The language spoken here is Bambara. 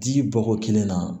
Di bɔko kelen na